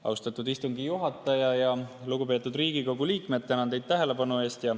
Austatud istungi juhataja ja lugupeetud Riigikogu liikmed, tänan teid tähelepanu eest.